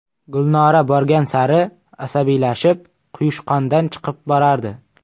Gulnora borgan sari asabiylashib, quyushqondan chiqib borardi.